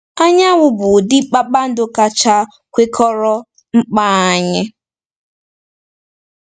Anyanwụ bụ ụdị kpakpando kacha kwekọrọ mkpa anyị.